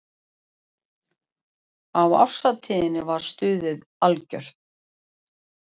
Á árshátíðinni var stuðið algjört.